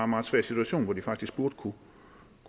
meget svær situation hvor de faktisk burde kunne